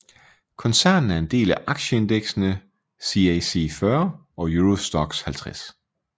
Koncernen er en del af aktieindeksene CAC 40 og Euro Stoxx 50